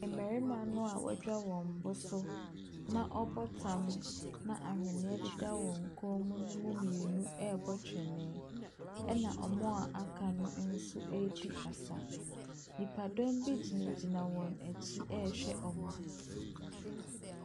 Mmarima noa wɔadwa wɔn boso na ɔbɔ tam na awheniɛ deda wɔn kɔn mu no mu mmienu ɛrebɔ twene ɛna wɔn a aka no nso ɛredi asa. Nnipadɔm bi gyinagyina wɔn akyi ɛrehwɛ wɔn.